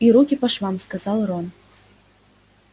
и руки по швам сказал рон